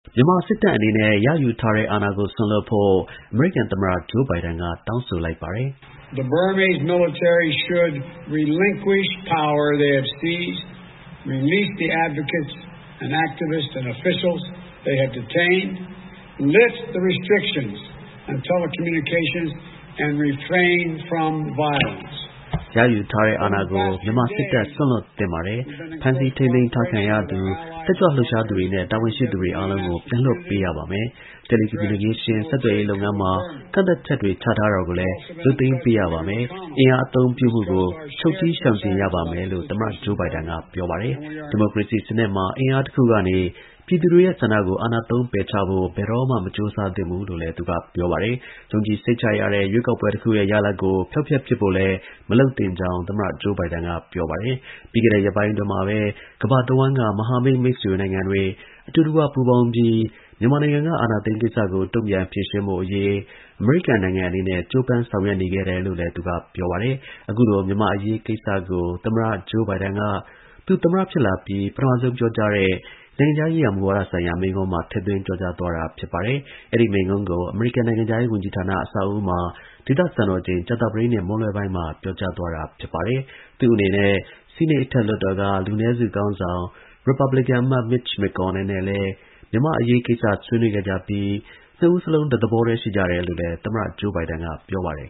မြန်မာစစ်တပ် ရယူထားတဲ့ အာဏာကို စွန့်လွှတ်ဖို့ အမေရိကန် သမ္မတ Joe Biden က တောင်းဆိုလိုက်ပါတယ်။ “ရယူထားတဲ့ အာဏာကို မြန်မာ စစ်တပ် စွန့်လွှတ်သင့်ပါတယ်။ ဖမ်းဆီးထိန်းသိမ်းထားခံထားရသူ၊ တက်ကြွလှုပ်ရှားသူတွေနဲ့ တာဝန်ရှိသူတွေ အားလုံးကို ပြန်လွှတ်ပေးရပါမယ်။ တယ်လီ ကွန်မြူနီကေးရှင်း ဆက်သွယ်ရေးလုပ်ငန်းမှာ ကန့်သတ်ချက်တွေ ချထားတာကို ရုပ်သိမ်းပေးရပါမယ်။ အင်အား အသုံးပြုမှုကို ချုပ်တည်း ရှောင်ကြဉ်ပါမယ်” လို့သမ္မတ Joe Biden က ပြောပါတယ်။ ဒီမိုကရေစီစနစ်မှာ အင်အားစု တစ်ခုကနေ ပြည်သူတွေရဲ့ ဆန္ဒကို အာဏာသုံး ပယ်ချဖို့ ဘယ်တော့မှ မကြိုးစားသင့်သလို ယုံကြည်စိတ်ချရတဲ့ ရွေးကောက်ပွဲ တစ်ခုရဲ့ ရလာဒ်ကို ဖျောက်ဖျက်ပစ်ဖို့လည်း မလုပ်သင့်ကြောင်း သမ္မတ Joe Biden က ပြောပါတယ်။ ပြီးခဲ့တဲ့ ရက်ပိုင်းအတွင်းမှာပဲ ကမ္ဘာတဝှမ်းက မဟာမိတ် မိတ်ဆွေနိုင်ငံတွေ အတူတကွ ပူးပေါင်းပြီး မြန်မာနိုင်ငံက အာဏာသိမ်း ကိစ္စကို တုန့်ပြန် ဖြေရှင်းဖို့အရေး အမေရိကန်နိုင်ငံ အနေနဲ့ ကြိုးပမ်း ဆောင်ရွက်နေခဲ့တယ်လို့လည်း သူက ပြောပါတယ်။ အခုလို မြန်မာ့အရေးကိစ္စကို သမ္မတ Joe Biden က သူ သမ္မတ ဖြစ်လာပြီး ပထမဆုံး ပြောကြားတဲ့ နိုင်ငံခြားရေးရာ မူဝါဒ ဆိုင်ရာ မိန့်ခွန်းမှာ ထည့်သွင်းပြောကြားသွားပါတယ်။ အဲဒီ မိန့်ခွန်းကို အမေရိကန်နိုင်ငံခြားရေး ဝန်ကြီးဌာန အဆောက်အဦးမှာ ဒေသစံတော် ချိန် ကြာသပတေးနေ့ မွန်းလွဲပိုင်းမှာ ပြောကြားသွားတာ ဖြစ်ပါတယ်။ သူ့အနေနဲ့ ဆီးနိတ် အထက်လွှတ်တော်က လူနည်းစု ခေါင်းဆောင် ရစ်ပတ်ဘလင်ကန် အမတ် Mitch McConnell နဲ့လည်း မြန်မာကိစ္စ ဆွေးနွေးခဲ့ကြပြီး နှစ်ဦးစလုံး တစ်သဘောတည်း ရှိကြတယ်လို့လည်း သမ္မတ Joe Biden က ပြောပါတယ်